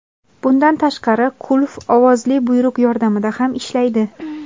Bundan tashqari, qulf ovozli buyruq yordamida ham ishlaydi.